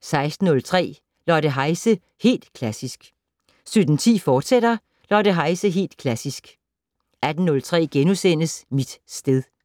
16:03: Lotte Heise - Helt Klassisk 17:10: Lotte Heise - Helt Klassisk, fortsat 18:03: Mit sted *